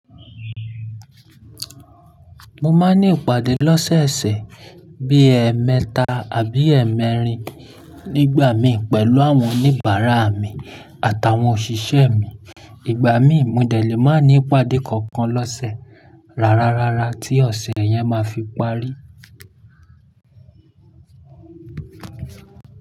Mo máa ń ní ìpàdé lọ́sẹ̀ẹ̀sẹ̀ bí ẹ́mẹta àbí ẹ́mẹ́rin nígbà mi pẹ̀lú àwọn oníbàárà mi àtàwọn òṣìṣẹ́ mi. Ìgbà mí mo dẹ̀ lẹ́ máa ní ìpàdé kankan lọ́sẹ̀ rárá rárá tí ọ̀sẹ̀ yẹn ma fi parí.